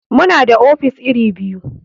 Muna da ofis iri biyu.